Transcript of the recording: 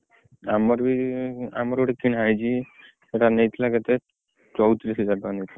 ଆମର ବି ଆମର ଗୋଟେ କିଣା ହେଇଚି ସେଇଟା ନେଇଥିଲା କେତେ ଚଉତିରିଶ ହଜାର ଟଙ୍କା ନେଇଥିଲା।